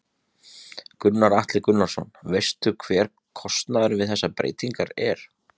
Gunnar Atli Gunnarsson: Veistu hver kostnaðurinn við þessar breytingar er?